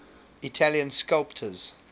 italian sculptors